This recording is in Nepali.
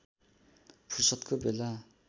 फुर्सदको बेला